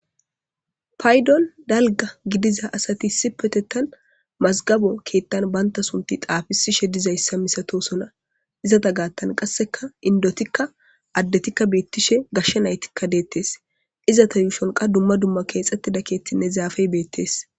Faydon dalga gidiza asatisi petettan mazgabo keettan banta sunti xaafisishe dizayssa misatosona izata gaattan qasseka indotikka addetikka beettishe gashshe naytikka deettes izata yuushonqa dumma dumma keexxettida keettinne zaafey beettees